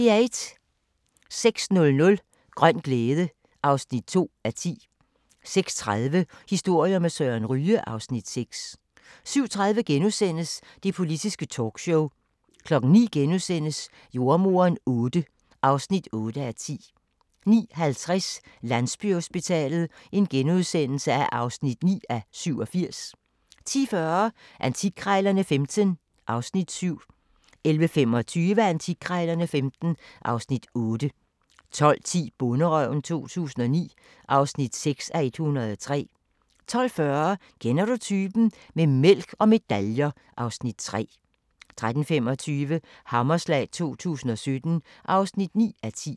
06:00: Grøn glæde (2:10) 06:30: Historier med Søren Ryge (Afs. 6) 07:30: Det Politiske Talkshow * 09:00: Jordemoderen VIII (8:10)* 09:50: Landsbyhospitalet (9:87)* 10:40: Antikkrejlerne XV (Afs. 7) 11:25: Antikkrejlerne XV (Afs. 8) 12:10: Bonderøven 2009 (6:103) 12:40: Kender du typen? - med mælk og medaljer (Afs. 3) 13:25: Hammerslag 2017 (9:10)